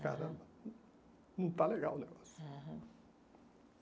Aham. Não está legal o negócio. Aham